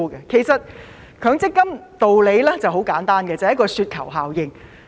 其實強積金的道理十分簡單，便是"雪球效應"。